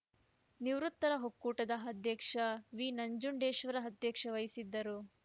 ನಿವೃತ್ತರ ಒಕ್ಕೂಟದ ಅಧ್ಯಕ್ಷ ವಿನಂಜುಂಡೇಶ್ವರ ಅಧ್ಯಕ್ಷತೆ ವಹಿಸಿದ್ದರು